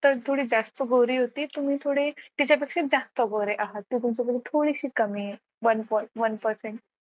थोडी जास्त गोरी होती तुम्ही थोडे तिच्यापेक्षा जास्त गोरे आहात ती तुमच्यापेक्षा थोडीशी कमी आहे one percent